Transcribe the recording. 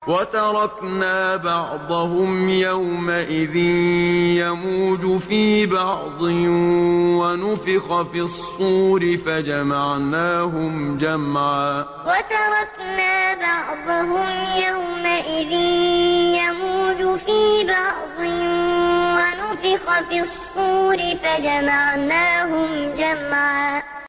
۞ وَتَرَكْنَا بَعْضَهُمْ يَوْمَئِذٍ يَمُوجُ فِي بَعْضٍ ۖ وَنُفِخَ فِي الصُّورِ فَجَمَعْنَاهُمْ جَمْعًا ۞ وَتَرَكْنَا بَعْضَهُمْ يَوْمَئِذٍ يَمُوجُ فِي بَعْضٍ ۖ وَنُفِخَ فِي الصُّورِ فَجَمَعْنَاهُمْ جَمْعًا